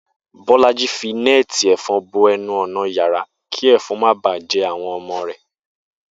Bó̩lájí fi né̩è̩tì è̩fo̩n bo e̩nu ò̩nà yàrá kí è̩fo̩n ó má ba à je̩ àwo̩n o̩mo̩ rè̩